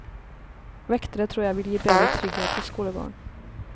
Vektere tror jeg vil gi bedre trygghet i skolegården.